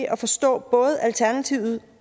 at forstå både alternativet